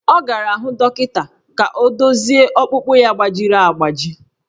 Ọ gara hụ dọkịta ka ọ dozie ọkpụkpụ ya gbajiri agbaji